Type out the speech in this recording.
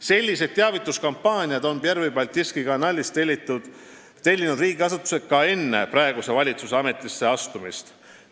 Selliseid teavituskampaaniaid on riigiasutused Pervõi Baltiiski Kanalist tellinud ka enne praeguse valitsuse ametisse astumist.